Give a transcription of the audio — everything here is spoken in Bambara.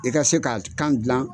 I ka se ka kan dilan.